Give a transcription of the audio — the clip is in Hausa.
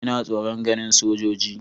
Ina tsoron ganin sojoji.